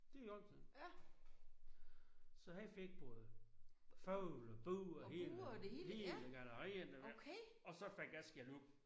Det i orden sagde han. Så han fik både fugle og bur og hele hele galleriet og så fik jeg skældud